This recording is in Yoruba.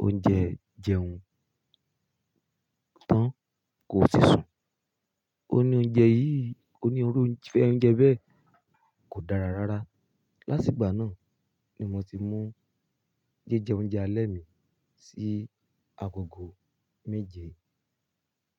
oúnjẹ jẹun tán kó ó tì sùn. Ó ní oúnjẹ yìí, ó ní orúfẹ́ oúnjẹ bẹ́ẹ̀ kò dára rárá. Látìgbà náà ni mo ti mú jíjẹ oúnjẹ alẹ́ mi sí agogo méje.